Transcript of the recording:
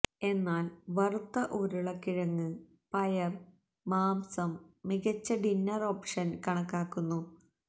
എന്നാൽ വറുത്ത ഉരുളക്കിഴങ്ങ് പയർ മാംസം മികച്ച ഡിന്നർ ഓപ്ഷൻ കണക്കാക്കുന്നു